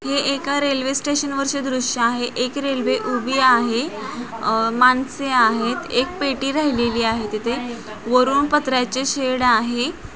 हे एका railway station वरचे दृश्य आहे. एक रेल्वे उभी आहे अह माणसे आहेत. एक पेटी राहिलेली आहे तिथे वरुण पत्र्याचे शेड आहे.